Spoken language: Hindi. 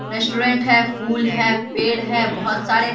रेस्टोरेंट है फूल है पेड़ है बहुत सारे।